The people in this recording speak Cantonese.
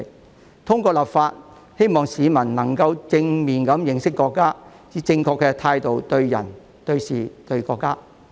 我們希望透過立法，令市民能夠正面認識國家，以正確的態度對人、對事和對國家。